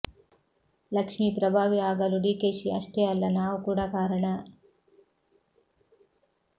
ಲಕ್ಷ್ಮೀ ಪ್ರಭಾವಿ ಆಗಲು ಡಿಕೆಶಿ ಅಷ್ಟೇ ಅಲ್ಲ ನಾವೂ ಕೂಡ ಕಾರಣ